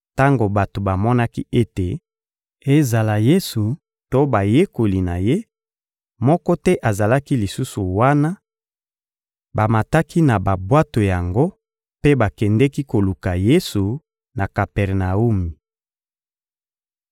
Tango bato bamonaki ete, ezala Yesu to bayekoli na Ye, moko te azalaki lisusu wana, bamataki na babwato yango mpe bakendeki koluka Yesu, na Kapernawumi.